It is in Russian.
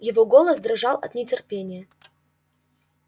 его голос дрожал от нетерпения